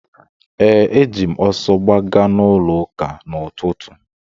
Ee, eji m ọsọ gbaga n'ụlọụka n’ụtụtụ.